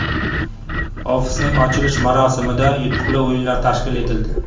Ofisning ochilish marosimida yutuqli o‘yinlar tashkil etildi.